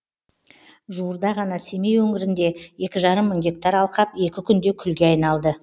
жуырда ғана семей өңірінде екі жарым мың гектар алқап екі күнде күлге айналды